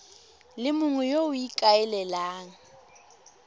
le mongwe yo o ikaelelang